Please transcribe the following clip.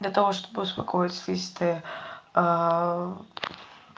для того чтобы успокоить слизистая